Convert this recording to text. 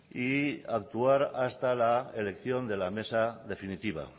y actuar hasta la elección de la mesa definitiva